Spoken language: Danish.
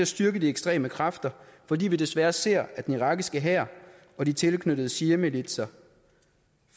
styrke de ekstreme kræfter fordi vi desværre ser at den irakiske hær og de tilknyttede shiamilitser